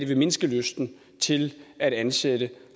vil mindske lysten til at ansætte